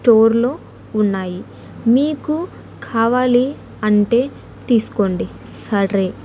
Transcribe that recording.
స్టోర్లో ఉన్నాయి మీకు కావాలి అంటే తీసుకోండి సరే.